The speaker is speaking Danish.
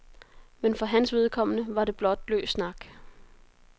Men for hans vedkommende var det blot løs snak.